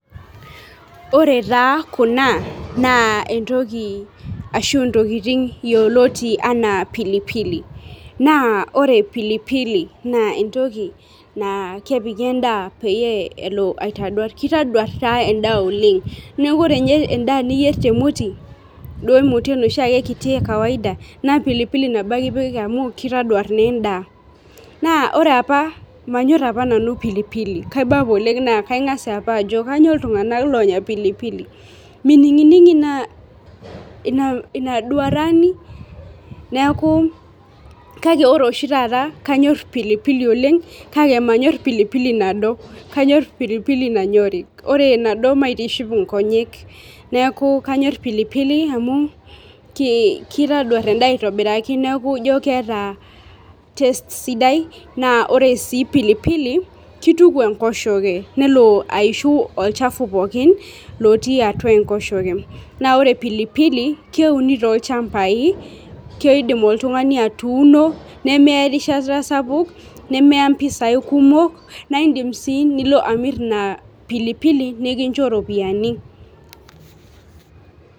Ore taa kuna naa entoki ashu ntokitin yioloti anaa pilipili naa ore pilipili naa entoki naa kepiki endaa peyie elo aitaduar. Kitaduar taa endaa oleng, niaku ore ninye endaa niyier temoti, duo emoti enoshiake kiti ekawaida naa pilipili nabo ake ipik amu kitaduar naa endaa . Naa ore apa, manyor apa nanu pilipili , kaiba apa oleng naa kaingas apa ajo kainyioo iltunganak lonyor pilipili , mininginingi ina ina inaduarani ?.Neaku kake ore oshi taata kanyor pilipili oleng kake manyor pilipili nado, kanyor pilipili nanyori , ore enado maitiship inkonyek , neeku kanyor pilipili amu kitaduar endaa aitobiraki neeku ijo keeta taste sidai naa ore sii pilipili , kituku enkoshoke nelo aishu olchafu pookin lotii atua enkoshoke . Naa ore pilipili keuni toolchambai , keidim oltungani atuuno nemeya erishata sapuk nemeya mpisai kumok naa indim sii nilo amir ina pilipili nikincho ropiyiani.